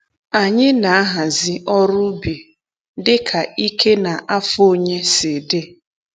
Anyị na-ahazi ọrụ ubi dịka ike na afọ onye si dị.